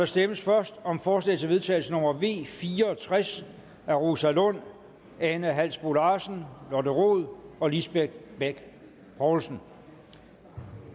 stemmes først om forslag til vedtagelse nummer v fire og tres af rosa lund ane halsboe larsen lotte rod og lisbeth bech poulsen